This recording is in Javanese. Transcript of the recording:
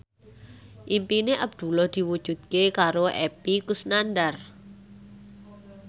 impine Abdullah diwujudke karo Epy Kusnandar